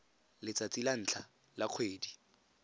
letsatsi la ntlha la kgwedi